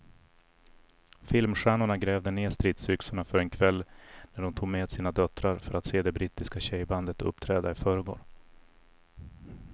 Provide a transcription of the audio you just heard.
Filmstjärnorna grävde ned stridsyxorna för en kväll när de tog med sina döttrar för att se det brittiska tjejbandet uppträda i förrgår.